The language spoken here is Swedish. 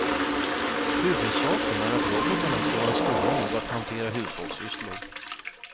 Huvudsaken är att robotarna ska vara stora nog att hantera hushållssysslor.